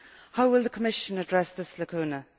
How will the Commission address this lacuna?